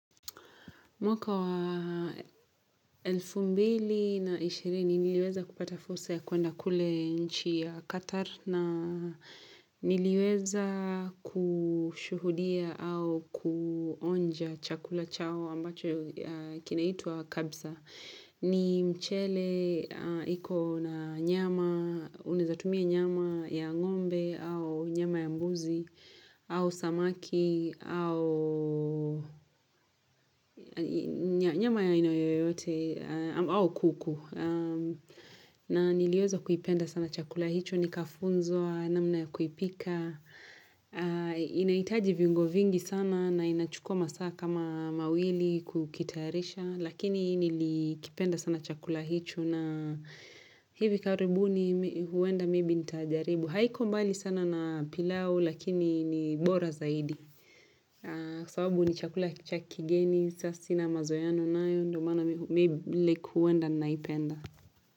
Mwaka wa elfu mbili na ishirini niliweza kupata fursa ya kuenda kule nchi ya Qatar na niliweza kushuhudia au kuonja chakula chao ambacho kinaitwa kabsa. Ni mchele, iko na nyama, unaezatumia nyama ya ng'ombe, au nyama ya mbuzi, au samaki, au nyama ya aina yoyote, au kuku. Na niliweza kuipenda sana chakula, hicho nikafunzwa, namna ya kuipika. Inahitaji viungo vingi sana na inachukua masaa kama mawili kukitayarisha. Lakini nilikipenda sana chakula hicho na hivi karibuni huenda maybe ntajaribu haiko mbali sana na pilau lakini ni bora zaidi Kwa sababu ni chakula cha kigeni sa sina mazoeano nayo ndio maana like huenda naipenda.